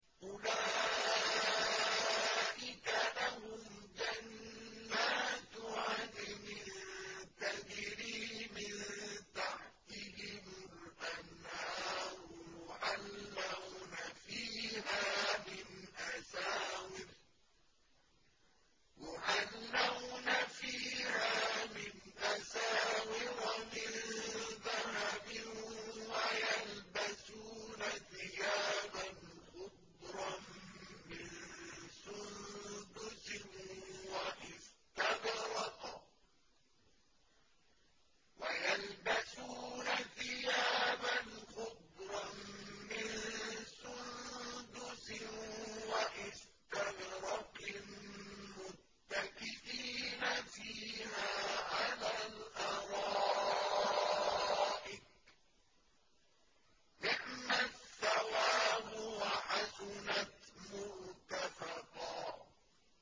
أُولَٰئِكَ لَهُمْ جَنَّاتُ عَدْنٍ تَجْرِي مِن تَحْتِهِمُ الْأَنْهَارُ يُحَلَّوْنَ فِيهَا مِنْ أَسَاوِرَ مِن ذَهَبٍ وَيَلْبَسُونَ ثِيَابًا خُضْرًا مِّن سُندُسٍ وَإِسْتَبْرَقٍ مُّتَّكِئِينَ فِيهَا عَلَى الْأَرَائِكِ ۚ نِعْمَ الثَّوَابُ وَحَسُنَتْ مُرْتَفَقًا